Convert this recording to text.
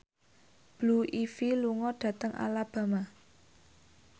Blue Ivy lunga dhateng Alabama